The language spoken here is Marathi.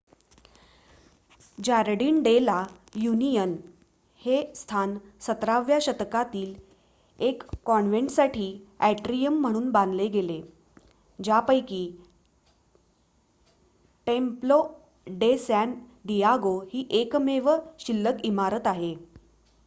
जार्डीन डे ला युनियन हे स्थान 17 व्या शतकातील एक कॉन्वेंटसाठी अट्रीयम म्हणून बांधले गेले ज्यापैकी टेम्पलो डे सॅन दियागो ही एकमेव शिल्लक इमारत आहे